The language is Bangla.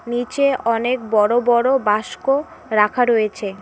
নীচে অনেক বড় বড় বাস্ক রাখা রয়েছে।